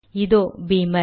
இதோ பீமர்